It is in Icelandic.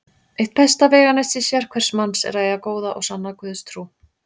Eitt besta veganesti sérhvers manns er að eiga góða og sanna Guðstrú.